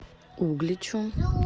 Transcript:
угличу